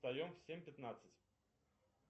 встаем в семь пятнадцать